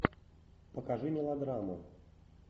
покажи мелодраму